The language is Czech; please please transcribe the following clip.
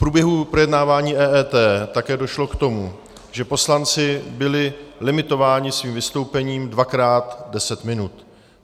V průběhu projednávání EET také došlo k tomu, že poslanci byli limitováni svým vystoupením dvakrát deset minut.